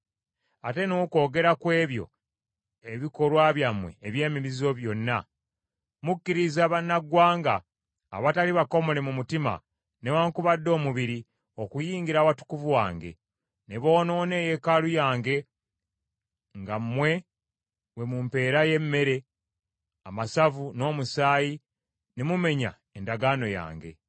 Ate n’okwogera ku ebyo ebikolwa byammwe eby’emizizo byonna, mukkiriza bannaggwanga, abatali bakomole mu mutima newaakubadde omubiri okuyingira Awatukuvu wange, ne boonoona eyeekaalu yange nga mmwe bwe mumpeerayo emmere, amasavu n’omusaayi ne mumenya endagaano yange.